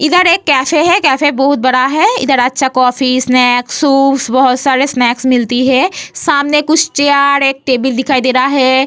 इधर एक कैफ़े है कैफ़े बहुत बड़ा है इधर अच्छा कॉफ़ी स्नैक्स शूप बहुत सारे स्नैक्स मिलती है सामने कुछ चेयर एक टेबिल दिखाई दे रहा है।